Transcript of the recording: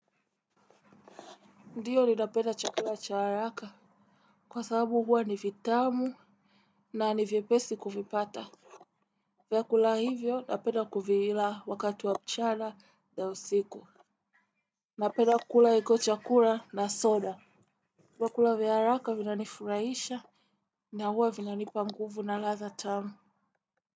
Ndio ni napenda chakula cha haraka. Kwa sababu huwa ni vitamu na ni vyepesi kuvipata. Vyakula hivyo napenda kuvila wakati wa mchana na usiku. Napenda kula hicho chakula na soda. Vyakula vya haraka vinanifurahisha na huwa vinanipa nguvu na ladha tamu.